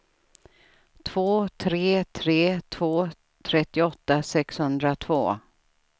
två tre tre två trettioåtta sexhundratvå